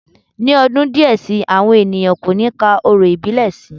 Ní ọdún díẹ̀ si, àwọn ènìyàn kò ní ka orò ìbílẹ̀ sí